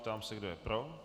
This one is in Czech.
Ptám se, kdo je pro.